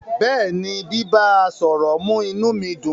Bẹ́ẹ̀ni, bíbá, à sọ̀rọ̀ mú inú mi dùn.